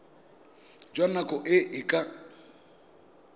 jwa nako e e ka